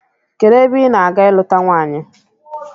Kedụ ebe ị na-aga ịlụta nwaanyị?